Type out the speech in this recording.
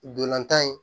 Dolantan in